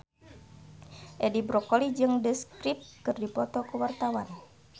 Edi Brokoli jeung The Script keur dipoto ku wartawan